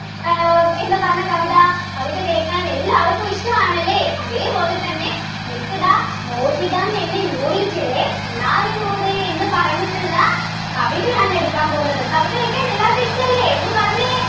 ആഹ് എന്ന് പറഞ്ഞ കവിത കവിത കേക്കാൻ എല്ലാവർക്കും ഇഷ്ടമാണല്ലേ അതേപോലെതന്നെ miss ഇതാ മോഹിതം എന്ന unit ലെ നിലാവിനോട് എന്ന് പറഞ്ഞിട്ടുള്ള കവിതയാണ് എടുക്കാൻ പോകുന്നത് കവിത കേക്കാൻ എല്ലാവർക്കും ഇഷ്ടല്ലേ ഒന്ന് പറഞ്ഞെ